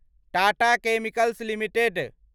Tata chemicals limited